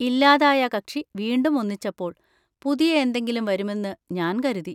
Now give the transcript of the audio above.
ഇല്ലാതായ കക്ഷി വീണ്ടും ഒന്നിച്ചപ്പോൾ പുതിയ എന്തെങ്കിലും വരുമെന്ന് ഞാൻ കരുതി...